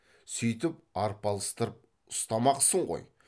сөйтіп арпалыстырып ұстамақсың ғой